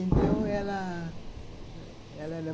Então ela, ela era